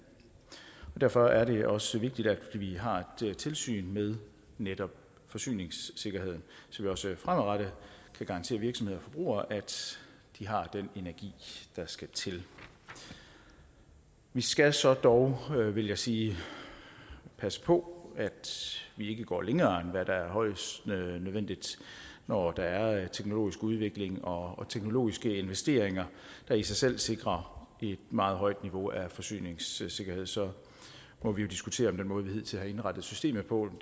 derfor er det også vigtigt at vi har et tilsyn med netop forsyningssikkerheden så vi også fremadrettet kan garantere virksomheder og forbrugere at de har den energi der skal til vi skal så dog vil jeg sige passe på at vi ikke går længere end hvad der er højst nødvendigt når der er en teknologisk udvikling og teknologiske investeringer der i sig selv sikrer et meget højt niveau af forsyningssikkerhed så må vi jo diskutere om den måde vi hidtil har indrettet systemet på